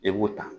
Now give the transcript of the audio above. I b'o ta